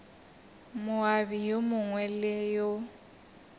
moabi yo mongwe le yo